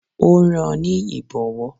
Ó rán an ní Ìbọ̀wọ́